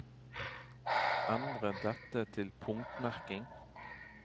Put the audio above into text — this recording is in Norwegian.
Endre dette til punktmerking